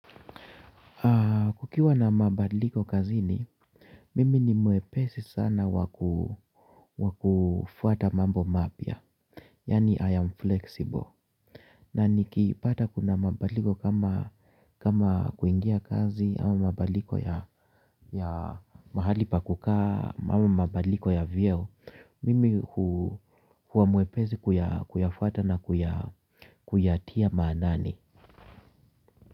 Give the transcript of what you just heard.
Kukiwa na mabadliko kazi ni, mimi ni mwepesi sana wakufuata mambo mapya. Yani I am flexible. Na nikipata kuna mabaliko kama kuingia kazi au mabadiliko ya mahali pa kukaa au mabadiliko ya vyeo. Mimi huwa mwepesi kuyafuata na kuyatia maanani.